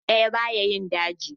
Icce ɗaya ba ya yi dauji.